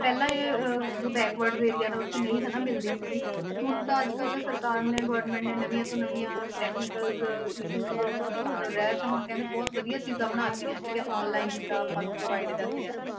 ਪਹਿਲਾਂ ਅਹ ਜੋ backward area ਆ, ਉੱਥੇ ਨਹੀਂ ਹਨਾ ਮਿਲਦੀ ਸੀਗੀ, ਹੁਣ ਤਾਂ ਅੱਜ ਕੱਲ੍ਹ ਸਰਕਾਰ ਨੇ government ਨੇ ਨਵੀਂਆਂ ਤੋਂ ਨਵੀਂਆਂ technicals issues ਤੋਂ ਰਹਿਤ ਹੁਣ ਕਹਿੰਦੇ ਬਹੁਤ ਵਧੀਆ ਚੀਜ਼ਾਂ ਬਣਾ ਦਿੱਤੀਆਂ ਠੀਕ ਹੈ online ਜਿੱਦਾਂ ਆਪਾਂ ਨੂੰ provide ਕਰਦੇ ਆ,